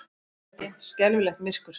Svo er dimmt, skelfilegt myrkur.